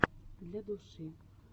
для души